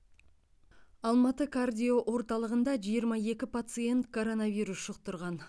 алматы кардиоорталығында жиырма екі пациент коронавирус жұқтырған